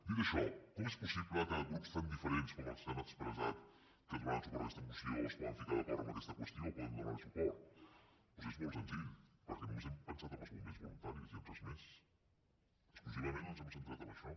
dit això com és possible que grups tan diferents com els que han expressat que donaran suport a aquesta moció es poden ficar d’acord en aquesta qüestió i poden donar li suport doncs és molt senzill perquè només hem pensat en els bombers voluntaris i en res més exclusivament ens hem centrat en això